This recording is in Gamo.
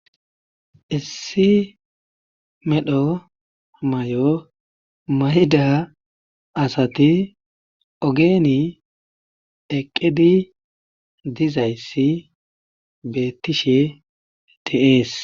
Issi medho mayo mayida asati ogeni eqqidi dizayssi beetishe de'ees.